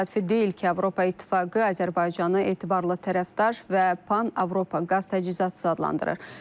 Təsadüfi deyil ki, Avropa İttifaqı Azərbaycanı etibarlı tərəfdaş və Pan-Avropa qaz təchizatı adlandırır.